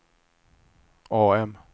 AM